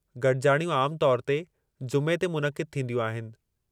गॾिजाणियूं आम तौर ते जुमे ते मुनक़िदु थींदियूं आहिनि।